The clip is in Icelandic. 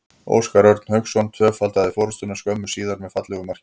Óskar Örn Hauksson tvöfaldaði forystuna skömmu síðar með fallegu marki.